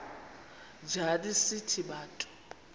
njana sithi bantu